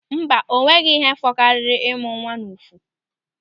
Mba, o nweghị ihe fụkariri ịmụ nwa n'ụfụ.